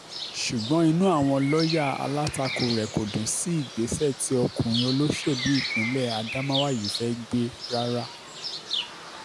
ṣùgbọ́n inú àwọn lọ́ọ̀yà alátakò rẹ̀ kò dùn sí ìgbésẹ̀ tí ọkùnrin olóṣèlú ìpínlẹ̀ adamawa yìí fẹ́ẹ́ gbé rárá